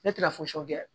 Ne tɛna fosi kɛ